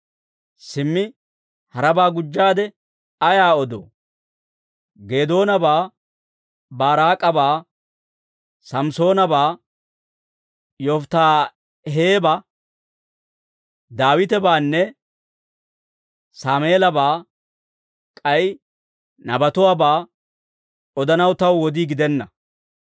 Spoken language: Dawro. Simmi harabaa gujjaade ayaa odoo? Geedoonabaa, Baaraak'abaa, Samisoonabaa, Yofittaahebaa, Daawitebaanne Saameelabaa, k'ay nabatuwaabaa odanaw taw wodii gidenna.